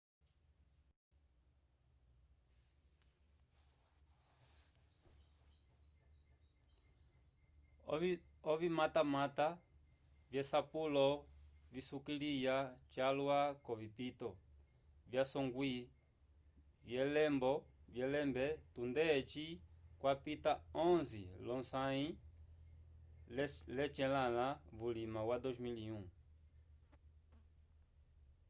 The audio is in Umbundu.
ovimatamata vyesapulo visukiliwa calwa k'ovipito vyasongwi vyelombe tunde eci kwapita 11 lyosãyi lyecelãla vulima wa 2001